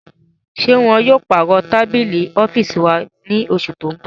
Ṣe wọn yóò parọ tabili ọfiisi wa ni oṣu ti n bọ?